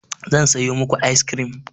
Zan sayo muku ice cream.